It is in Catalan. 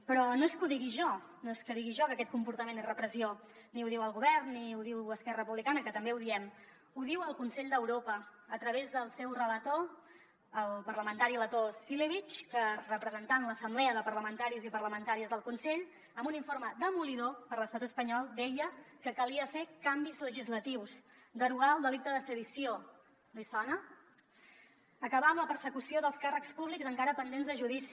però no és que ho digui jo no és que digui jo que aquest comportament és repressió ni ho diu el govern ni ho diu esquerra republicana que també ho diem ho diu el consell d’europa a través del seu relator el parlamentari letó cilevics que representant l’assemblea de parlamentaris i parlamentàries del consell en un informe demolidor per a l’estat espanyol deia que calia fer canvis legislatius derogar el delicte de sedició li sona acabar amb la persecució dels càrrecs públics encara pendents de judici